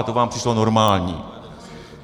A to vám přišlo normální.